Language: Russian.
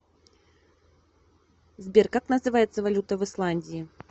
сбер как называется валюта в исландии